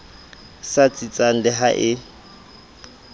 sa tsitsang le ha e